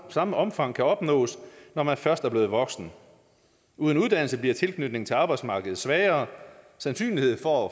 samme omfang kan opnås når man først er blevet voksen uden uddannelse bliver tilknytningen til arbejdsmarkedet svagere sandsynligheden for